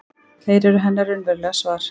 Þeir eru hennar raunverulega svar.